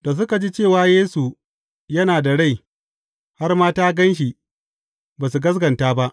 Da suka ji cewa Yesu yana da rai, har ma ta gan shi, ba su gaskata ba.